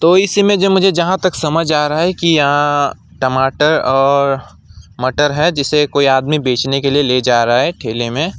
कोई मुझे जहां तक समझ आ रहा है कि यहां टमाटर और मटर है जिसे कोई आदमी बचने के लिए ले जा रहा है ठेले में।